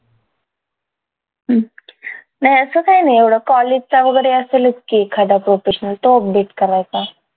हम्म नाय असं काय नाय एवढं college चा वगैरे असेलच की एखादा professional तो update करायचा